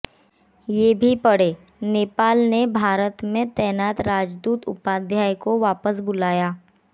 ये भी पढ़ेंः नेपाल ने भारत में तैनात राजदूत उपाध्याय को वापस बुलाया